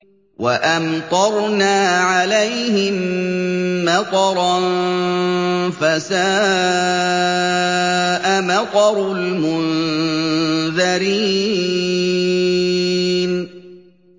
وَأَمْطَرْنَا عَلَيْهِم مَّطَرًا ۖ فَسَاءَ مَطَرُ الْمُنذَرِينَ